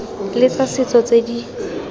le tsa setso tse di